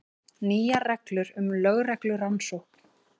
Nýjar reglur um lögreglurannsókn